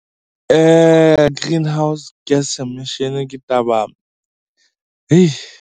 Greenhouse gas emission ke taba .